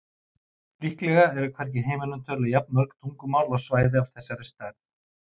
Líklega eru hvergi í heiminum töluð jafn mörg tungumál á svæði af þessari stærð.